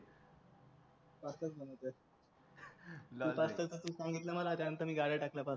pasta च बनवतोय तू पास्ता साठी सांगितले मला त्या नंतर मी गाड्या टाकल्या पास्ता